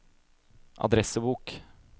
adressebok